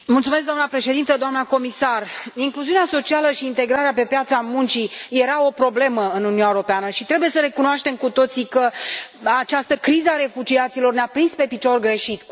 Doamnă președintă, doamnă comisar, incluziunea socială și integrarea pe piața muncii era o problemă în Uniunea Europeană și trebuie să recunoaștem cu toții că această criză a refugiaților ne a prins pe picior greșit.